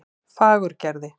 Fagurgerði